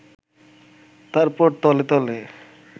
তারপর তলে তলে